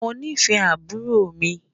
Mọ̀ ní fẹ̀ àbúrò mi